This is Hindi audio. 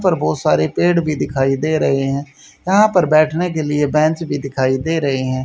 पर बहुत सारे पेड़ भी दिखाई दे रहे हैं यहां पर बैठने के लिए बैंच भी दिखाई दे ररही हैं।